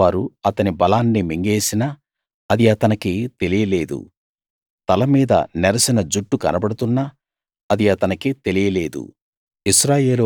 పరాయి వారు అతని బలాన్ని మింగేసినా అది అతనికి తెలియలేదు తలమీద నెరసిన జుట్టు కనబడుతున్నా అది అతనికి తెలియదు